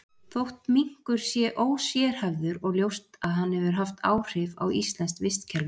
Þótt minkur sé ósérhæfður er ljóst að hann hefur haft áhrif á íslenskt vistkerfi.